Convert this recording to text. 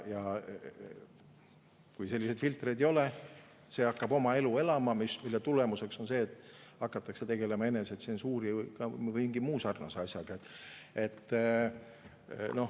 Kui selliseid filtreid ei ole, siis hakkab see kõik oma elu elama, mille tulemuseks on see, et hakatakse tegelema enesetsensuuri või mingi muu sarnase asjaga.